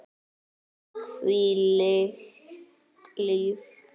Hvílíkt líf!